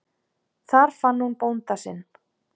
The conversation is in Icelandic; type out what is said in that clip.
Þar fann hún bónda sinn.